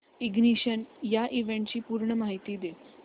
ignition या इव्हेंटची पूर्ण माहिती दे